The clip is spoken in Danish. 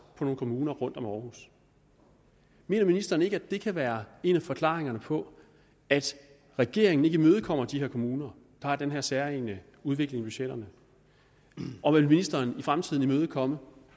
på nogle kommuner rundt om århus mener ministeren ikke at det kan være en af forklaringerne på at regeringen ikke imødekommer de her kommuner der har den her særegne udvikling i budgetterne og vil ministeren i fremtiden imødekomme